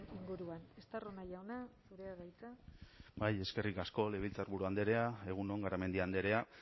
inguruan estarrona jauna zurea da hitza bai eskerrik asko legebiltzarburu andrea egun on garamendi andrea